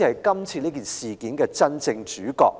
他才是這次事件的真正主角。